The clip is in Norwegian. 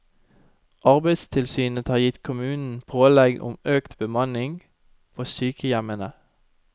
Arbeidstilsynet har gitt kommunen pålegg om økt bemanning på sykehjemmene.